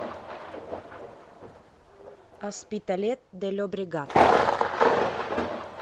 оспиталет де льобрегат